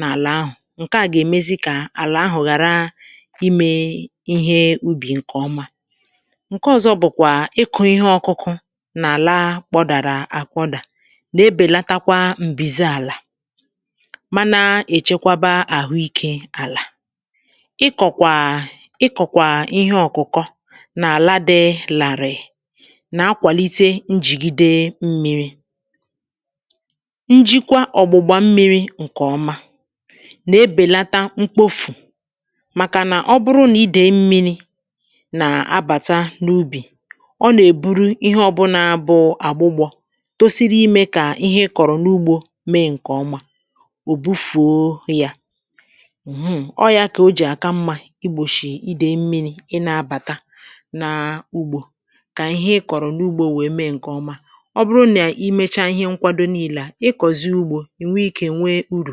n’àlà ahụ̀, ǹke à gà-èmezi kà àlà ahụ̀ ghàra imė ihe ubì ǹkè ọma. Nke ọzọ bụ̀kwà ịkụ̇ ihe ọ̇kụ̇kụ̇ nà àlà kpọdàrà àkpọdà nà-ebèlatakwa m̀bìzi àlà, mànà èchekwaba àhụikė àlà. Ịkọ̀kwà ịkọ̀kwà ihe ọ̀kụ̀kọ nà àlà dị làrị̀ị̀ nà akwàlite njigide mmiri. Njikwa ọ̀gbụ̀gbà mmiri nkè ọma nà-ebèlata mkpofù, màkà nà ọ bụrụ nà idèi mmiri nà-abàta n’ubì; ọ nà-èburu ihe ọ̇bụ̇nà bụ àgbụgbọ̇ tosiri imė kà ihe ị kọ̀rọ̀ n’ugbȯ mee ǹkè ọma, ò bufuo yȧ[um. ] Ọ yȧ kà o jì aka mmȧ igbòshì idèi mmili ị na-abàta nà ugbȯ, kà ihe ị kọ̀rọ̀ n’ugbȯ wèe mee ǹkè ọma. Ọ bụrụ nà i mecha ihe nkwado niile a, ịkọziè ugbo ị nwee ikė nwee urù.